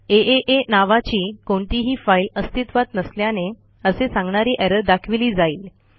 आ नावाची कोणतीही फाईल अस्तित्वात नसल्याने असे सांगणारी एरर दाखविली जाइल